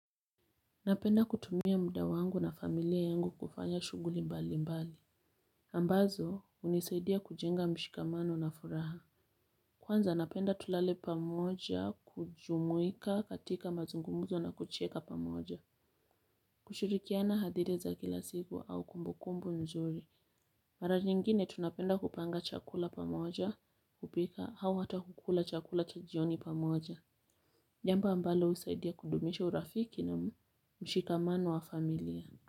Napenda kutumia muda wangu na familia yangu kufanya shuguli mbali mbali. Ambazo unisaidia kujenga mshikamano na furaha. Kwanza napenda tulale pamoja kujumuika katika mazungumuzo na kucheka pamoja. Kushirikiana hadithi za kila siku au kumbukumbu nzuri. Maranyingine tunapenda kupanga chakula pamoja kupika au hata kukula chakula chajioni pamoja. Jambo ambalo husaidia kudumisha urafiki na mshikamano wa familia.